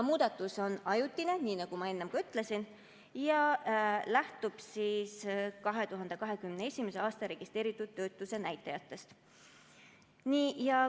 Muudatus on ajutine, nii nagu ma enne ütlesin, ja lähtub 2021. aasta registreeritud töötuse näitajatest.